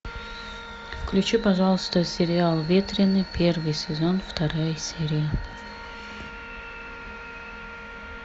включи пожалуйста сериал ветреный первый сезон вторая серия